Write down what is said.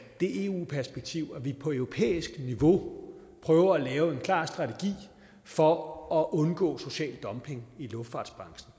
det eu perspektiv at vi på europæisk niveau prøver at lave en klar strategi for at undgå social dumping i luftfartsbranchen